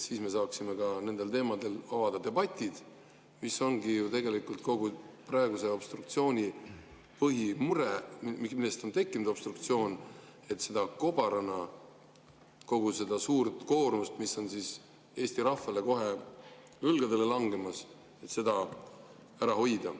Siis me saaksime ka nendel teemadel avada debatid, mis ongi ju tegelikult kogu praeguse obstruktsiooni puhul põhimure, selle tõttu ongi tekkinud obstruktsioon, et kogu seda suurt koormust, mis on kobarana Eesti rahvale kohe õlgadele langemas, ära hoida.